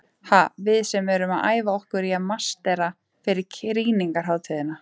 Ha, við sem erum að æfa okkur í að marsera fyrir krýningarhátíðina.